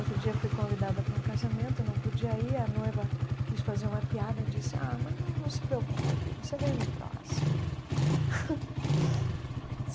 Outro dia fui convidada para um casamento, não podia ir, a noiva quis fazer uma piada, disse, ah, mas não não se preocupe, você veio no próximo.